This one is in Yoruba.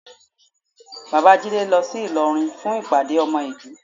Bàbá Jídé lọ sí Ìlọrin fún ìpàdé ọmọ ìlú